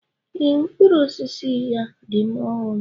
Ee, mkpụrụ osisi ya dị ọhụrụ.